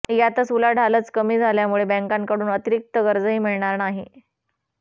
त्यातच उलाढालच कमी झाल्यामुळे बँकांकडून अतिरिक्त कर्जही मिळणार नाही